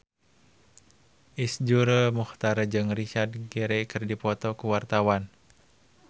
Iszur Muchtar jeung Richard Gere keur dipoto ku wartawan